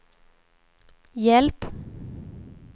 hjälp